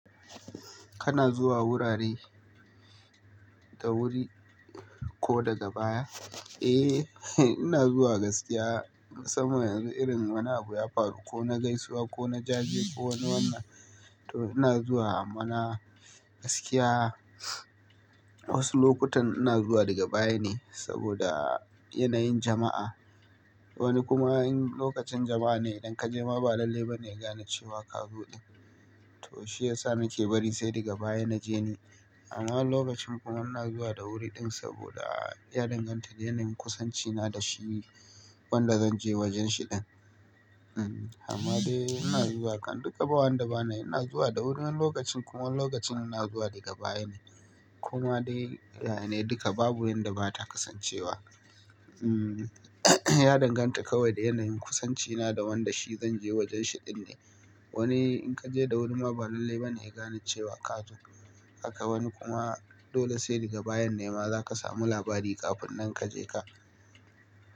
Kana zuwa wurare da wuri ko daga baya? Eh, ina zuwa gaskiya saboda irin wani abu ya faru ko na gaisuwa ko na jaje ko wani wannan, to ina zuwa mana gaskiya. Wasu lokutan ina zuwa daga baya ne saboda yanayin jama'a. Wani kuma in lokacin jama'a ne idan kaje ma ba lallai ba ne ya gane cewa ka zo. To shiyasa nake bari sai daga baya na je ni. Amma wani lokacin kuma ina zuwa da wuri ɗin saboda ya danganta da yanayin kusancina da shi wanda zan je wajenshi din. Hmm, amma dai ina zuwa kan duka, ba wanda ba nayi. Ina zuwa da wuri wani lokacin kuma wani lokacin ina zuwa daga baya ne. Ko ma dai, yaya ne duka babu inda bata kasance ba. Hmm, ya danganta kawai da yanayin kusancina da wanda shi zan je wajenshi din ne. Wani in kaje da wuri ma ba lallai ba ne ya gane cewa ka zo. Haka wani kuma dole sai daga bayan ne ma zaka samu labari kafin nan kaje ka.